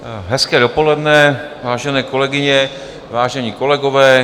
Hezké dopoledne, vážené kolegyně, vážení kolegové.